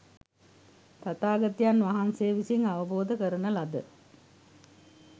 තථාගතයන් වහන්සේ විසින් අවබෝධ කරන ලද